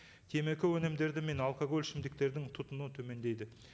темекі мен алкоголь ішімдіктердің тұтынуы төмендейді